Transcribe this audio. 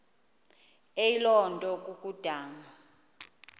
eyiloo nto kukodana